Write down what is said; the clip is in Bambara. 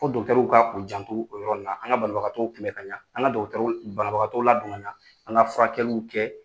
Ko dɔgitɛrɛw kan k'u janto o yɔrɔ in na an ka banabagatɔwkunbɛ kaɲa an ka dɔkitɛriw banabagatɔw ladon kaɲa an ka furakɛliw kɛ